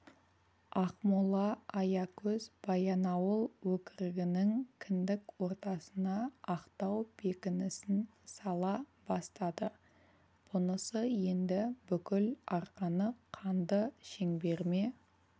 ақмола аякөз баянауыл өкірігінің кіндік ортасына ақтау бекінісін сала бастады бұнысы енді бүкіл арқаны қанды шеңберіме